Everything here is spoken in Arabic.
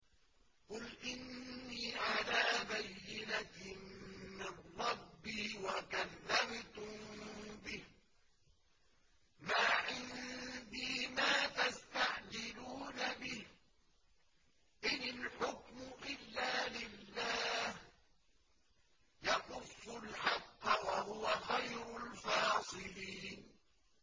قُلْ إِنِّي عَلَىٰ بَيِّنَةٍ مِّن رَّبِّي وَكَذَّبْتُم بِهِ ۚ مَا عِندِي مَا تَسْتَعْجِلُونَ بِهِ ۚ إِنِ الْحُكْمُ إِلَّا لِلَّهِ ۖ يَقُصُّ الْحَقَّ ۖ وَهُوَ خَيْرُ الْفَاصِلِينَ